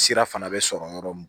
Sira fana bɛ sɔrɔ yɔrɔ min